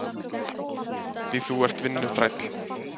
Því þú ert vinnuþræll.